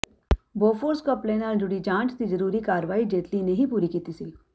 Bofors ਘਪਲੇ ਨਾਲ ਜੁੜੀ ਜਾਂਚ ਦੀ ਜ਼ਰੂਰੀ ਕਾਰਵਾਈ ਜੇਤਲੀ ਨੇ ਹੀ ਪੂਰੀ ਕੀਤੀ ਸੀ